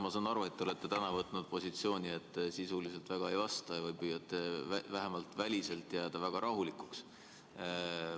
Ma saan aru, et te olete täna võtnud positsiooni, et te sisuliselt väga ei vasta ja püüate vähemalt väliselt jääda väga rahulikuks.